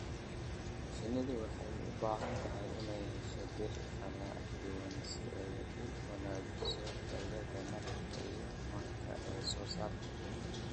Shinnidu waxay u baahan tahay inay hesho dhir kala duwan si ay u wanaajiso tayada malabka iyo manka ay soo saarto.